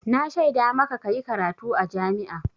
Na shaida maka ka yi karatu a jami'a.